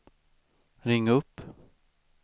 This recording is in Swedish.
ring upp